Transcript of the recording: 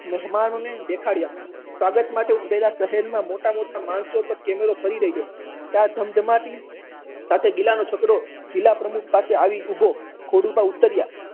મહેમાનો ને દેખાડ્યા સ્વાગત માટે ઉમટેલા મોટા મોટા માણસો પર કેમેરો ફરી વર્યો ત્યાં ધમ ધમાતી સાથે જિલ્લા ના પ્રમુખ પાસે ગિલા નો છકડો આવી પહોચ્યો ખોડુભા ઉતર્યા